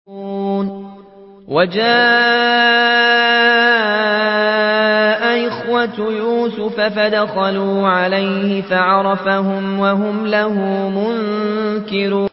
وَجَاءَ إِخْوَةُ يُوسُفَ فَدَخَلُوا عَلَيْهِ فَعَرَفَهُمْ وَهُمْ لَهُ مُنكِرُونَ